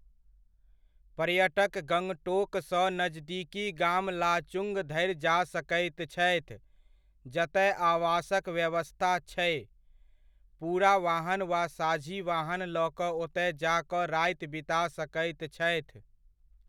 पर्यटक गङ्गटोकसँ नजदीकी गाम लाचुङ्ग धरि जा सकैत छथि जतय आवासक व्यवस्था छै, पूरा वाहन वा साझी वाहन लऽ कऽ ओतय जा कऽ राति बिता सकैत छथि।